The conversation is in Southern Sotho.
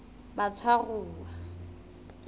batshwaruwa